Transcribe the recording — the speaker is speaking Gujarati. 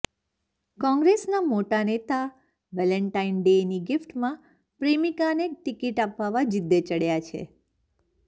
કોંગ્રેસના મોટા નેતા વેલેન્ટાઇન ડેની ગીફ્ટમાં પ્રેમિકાને ટિકિટ અપાવવા જીદે ચડ્યા છે